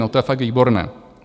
No to je fakt výborné.